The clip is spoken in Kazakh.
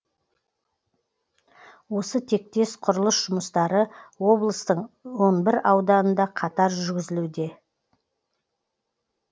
осы тектес құрылыс жұмыстары облыстың он бір ауданында қатар жүрзілуде